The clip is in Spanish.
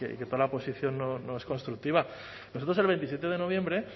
que toda la oposición no es constructiva nosotros el veintisiete de noviembre